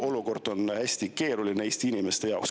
Olukord on hästi keeruline Eesti inimeste jaoks.